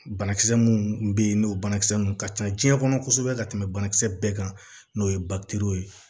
Banakisɛ minnu bɛ yen n'o banakisɛ ninnu ka ca diɲɛ kɔnɔ kosɛbɛ ka tɛmɛ banakisɛ bɛɛ kan n'o ye ye